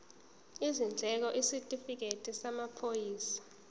izindleko isitifikedi samaphoyisa